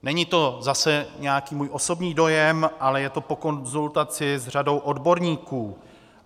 Není to zase nějaký můj osobní dojem, ale je to po konzultaci s řadou odborníků.